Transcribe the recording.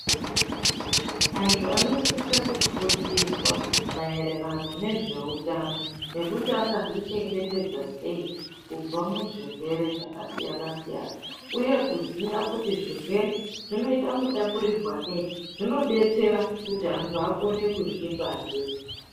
Antu anosise kufundiswa maererano nezveutano nekuti angazvichengetedza sei kubva muzvirwere zvakasiyana-siyana, uye kuziya kuti zvirwere zvinoita mutapurirwanei zvinodetsera kuti antu akone kuzvibatsira.